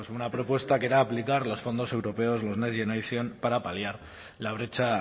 una propuesta que era aplicar los fondos europeos los next generation para paliar la brecha